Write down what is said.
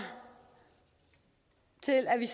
til at vi